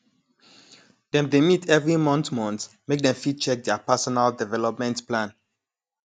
dem dey meet every month month make dem fit check their personal developement plan